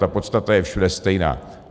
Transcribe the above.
Ta podstata je všude stejná.